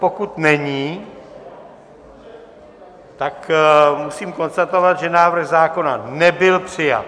Pokud není, tak musím konstatovat, že návrh zákona nebyl přijat.